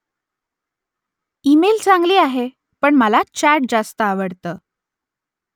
email चांगली आहे , पण मला चॅट जास्त आवडतं